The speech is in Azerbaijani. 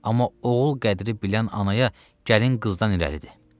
Amma oğul qədri bilən anaya gəlin qızdan irəlidir.